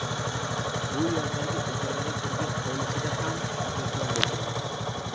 Bu yerdagi ijarada turgan hovlisida ham mehmon bo‘lganmiz.